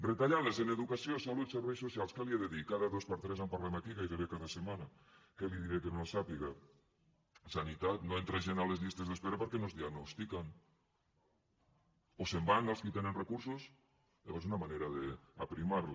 retallades en educació salut i serveis socials què li he de dir cada dos per tres en parlem aquí gairebé cada setmana què li diré que no sàpiga sanitat no entra gent a les llistes d’espera perquè no es diagnostiquen o se’n van els qui tenen recursos és una manera d’aprimar les